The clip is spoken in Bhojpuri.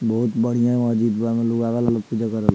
बहुत बढ़िया महजिदवा में लोग आवल हलो पुजा करल --